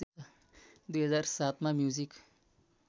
२००७ मा म्युजिक